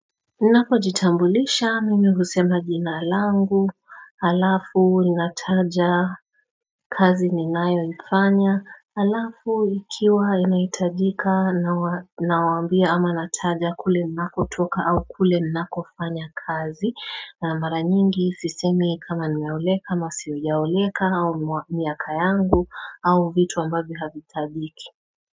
Napojitambulisha mimi husema jina alangu alafu inataja kazi ninayoifanya alafu ikiwa inaitajika na wambia ama nataja kule ninakotoka au kule ninakofanya kazi na mara nyingi sisemi kama ninauleka masio yauleka au miaka yangu au vitu ambavi havitadiki.